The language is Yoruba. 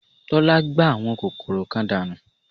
Tọ́lá gbá àwọn kòkòrò kan dànù